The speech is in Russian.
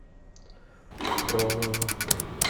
фролово